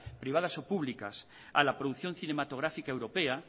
privadas o públicas a la producción cinematográfica europea